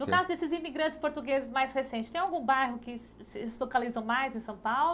No caso desses imigrantes portugueses mais recentes, tem algum bairro que se localiza mais em São Paulo?